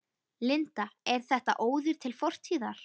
Linda: Er þetta óður til fortíðar?